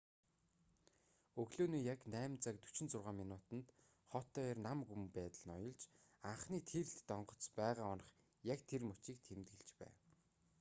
өглөөний яг 8:46 минутад хот даяар нам гүм байдал ноёлж анхны тийрэлтэт онгоц байгаа онох яг тэр мөчийг тэмдэглэж байв